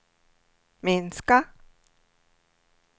minska